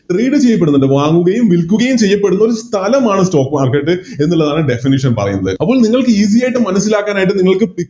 Trade ചെയ്യപ്പെടുന്നുണ്ട് വാങ്ങുകയും വിൽക്കുകയും ചെയ്യപ്പെടുന്ന സ്ഥലമാണ് Stock market എന്നുള്ളതാണ് Definition ൽ പറയുന്നത് അപ്പൊ നിങ്ങൾക്ക് Easy ആയിട്ട് മനസിലാക്കാനായിട്ട് നിങ്ങൾക്ക്